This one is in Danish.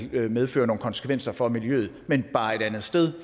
vil medføre nogle konsekvenser for miljøet men bare et andet sted